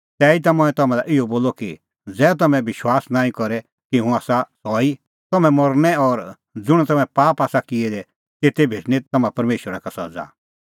तैहीता मंऐं तम्हां लै इहअ बोलअ कि ज़ै तम्हैं विश्वास नांईं करे कि हुंह आसा सह ई तम्हैं मरनै और ज़ुंण तम्हैं पाप आसा किऐ दै तेते भेटणीं तम्हां परमेशरा का सज़ा